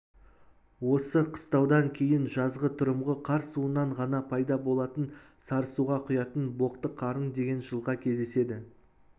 осы қыстаудан кейін жазғытұрымғы қар суынан ғана пайда болатын сарысуға құятын боқтықарын деген жылға кездеседі